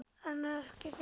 En ekki fyrr.